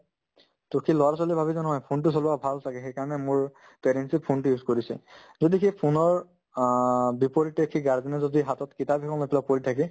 to কি ল'ৰা-ছোৱালীয়ে ভাবে যে নহয় phone তো চলোৱা ভাল ছাগে সেইকাৰণে মোৰ parents য়ে phone তো use কৰিছে কিন্তু সি phone ৰ অ বিপৰীতে সি guardian ৰ যদি হাতত কিতাপ এখন matlab পঢ়ি থাকে